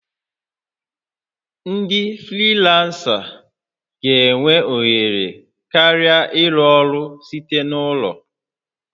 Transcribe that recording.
Ndị frilansa ga-enwe ohere karịa ịrụ ọrụ site n'ụlọ